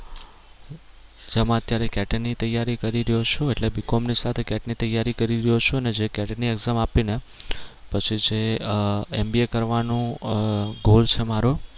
જેમાં અત્યારે CAT ની તૈયારી કરી રહ્યો છું એટલે B com ની સાથે CAT ની તૈયારી કરી રહ્યો છું અને જે CAT ની exam આપી ને પછી જે આહ MBA કરવાનું આહ goal છે મારો